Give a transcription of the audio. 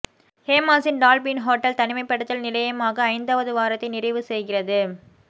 ஹேமாஸின் Dolphin hotel தனிமைப்படுத்தல் நிலையமாக ஐந்தாவது வாரத்தை நிறைவு செய்கிறது